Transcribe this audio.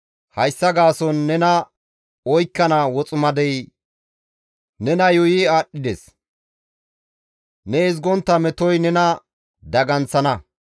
Hayssa gaason nena oykkana woximadey nena yuuyi aadhdhides; ne ezgontta metoy nena daganththana.